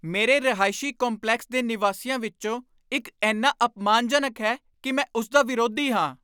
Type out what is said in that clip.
ਮੇਰੇ ਰਿਹਾਇਸ਼ੀ ਕੰਪਲੈਕਸ ਦੇ ਨਿਵਾਸੀਆਂ ਵਿੱਚੋਂ ਇੱਕ ਇੰਨਾ ਅਪਮਾਨਜਨਕ ਹੈ ਕਿ ਮੈਂ ਉਸ ਦਾ ਵਿਰੋਧੀ ਹਾਂ।